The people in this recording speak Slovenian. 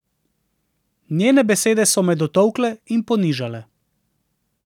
Njene besede so me dotolkle in ponižale.